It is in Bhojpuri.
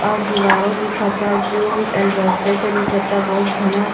अ दिवरो दिखता जो दिखता बहुत घाना--